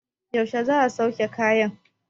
yaushe za a sauke kayan?